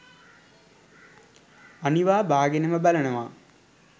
අනිවා බාගෙනම බලනවා.